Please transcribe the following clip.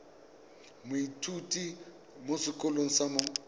moithuti mo sekolong sa mo